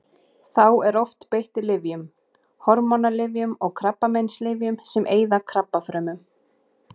Þá er oft beitt lyfjum: hormónalyfjum og krabbameinslyfjum sem eyða krabbafrumum.